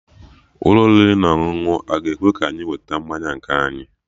Ụlọ oriri na ọṅụṅụ aga ekwe ka anyị weta mmanya nke anyị?